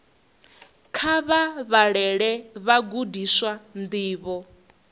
kha vha vhalele vhagudiswa ndivho